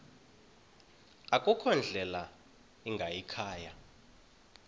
akukho ndlela ingayikhaya